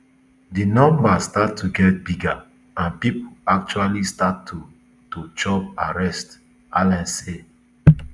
di numbers start to get bigger and pipo actually start to to chop arrest allans say